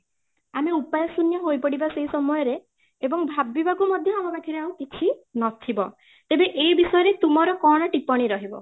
ଆମେ ଉପାୟ ଶୂନ୍ୟ ହୋଇ ପଡିବା ସେଇ ସମୟ ରେ ଏବଂ ଭାବିବାକୁ ମଧ୍ୟ ଆମ ପାଖରେ କିଛି ନଥିବ ଏବେ ଏଇ ବିଷୟରେ ତୁମର କ'ଣ ଟିପଣି ରହିବ ?